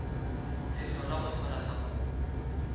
sehlola go hlola sa kgomo